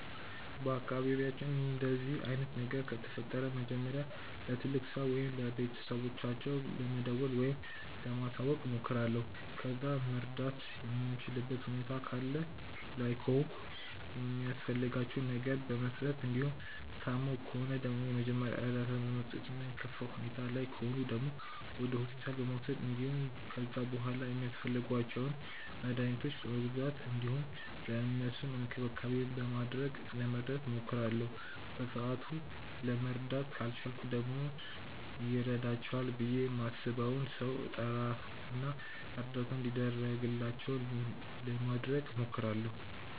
በአካባቢያችን እንደዚህ አይነት ነገር ከተፈጠረ መጀመሪያ ለትልቅ ሰው ወይም ለቤተሰቦቻቸው ለመደወል ወይም ለማሳወቅ እሞክራለሁ። ከዛ መርዳት የምችልበት ሁኔታ ላይ ከሆንኩ የሚያስፈልጋቸውን ነገር በመስጠት እንዲሁም ታመው ከሆነ ደግሞ የመጀመሪያ እርዳታ በመስጠት እና የከፋ ሁኔታ ላይ ከሆኑ ደግሞ ወደ ሆስፒታል በመውሰድ እንዲሁም ከዛ በሗላ ሚያስፈልጓቸውን መድኃኒቶች በመግዛት እንዲሁም ለእነሱም እንክብካቤ በማድረግ ለመርዳት እሞክራለሁ። በሰአቱ ለመርዳት ካልቻልኩ ደግሞ ይረዳቸዋል ብዬ ማስበውን ሰው እጠራ እና እርዳታ እንዲደረግላቸው ለማድረግ እሞክራለሁ።